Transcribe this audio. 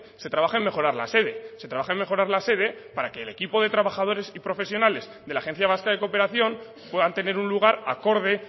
se trabaja en mejorar la sede se trabaja en mejorar la sede para que el equipo de trabajadores y profesionales de la agencia vasca de cooperación puedan tener un lugar acorde